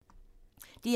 DR1